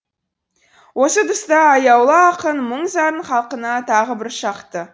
осы тұста аяулы ақын мұң зарын халқына тағы бір шақты